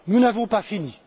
Nous n'en avons pas fini.